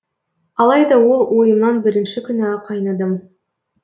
алайда ол ойымнан бірінші күні ақ айныдым